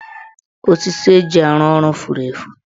Osisi eji arụ ọrụ furu efu.